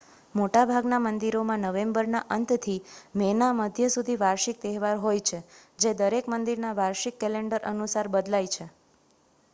મોટાભાગના મંદિરોમાં નવેમ્બરના અંતથી મેના મધ્ય સુધી વાર્ષિક તહેવાર હોય છે જે દરેક મંદિરના વાર્ષિક કેલેન્ડર અનુસાર બદલાય છે